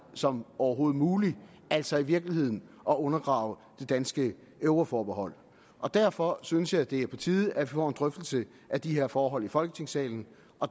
som overhovedet muligt altså i virkeligheden at undergrave det danske euroforbehold derfor synes jeg det er på tide at vi får en drøftelse af de her forhold i folketingssalen